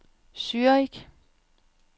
Zürich